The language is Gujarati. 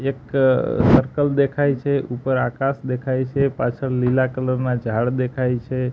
એક સર્કલ દેખાય છે ઉપર આકાશ દેખાય છે પાછળ લીલા કલર ના ઝાડ દેખાય છે.